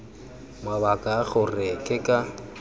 mabaka a gore ke ka